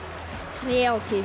þrjátíu